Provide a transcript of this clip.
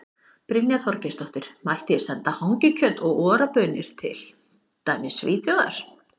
Brynja Þorgeirsdóttir: Mætti ég senda hangikjöt og Ora baunir til, til dæmis Svíþjóðar?